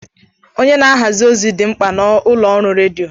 Onye na-ahazi ozi dị mkpa na ụlọ ọrụ redio.